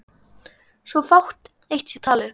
svo fátt eitt sé talið.